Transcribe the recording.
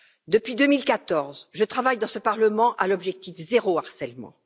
Depuis 2014, je travaille dans ce parlement à l'objectif zéro harcèlement.